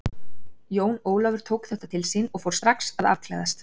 Jón Ólafur tók þetta til sín og fór strax að afklæðast.